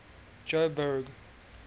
joburg